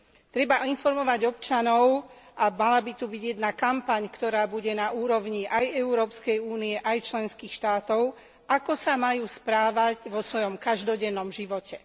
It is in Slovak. Treba informovať občanov a mala by tu byť jedna kampaň, ktorá bude na úrovni aj Európskej únie aj členských štátov, ako sa majú správať vo svojom každodennom živote.